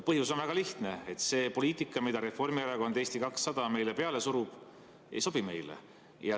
Põhjus on väga lihtne: see poliitika, mida Reformierakond ja Eesti 200 meile peale suruvad, ei sobi meile.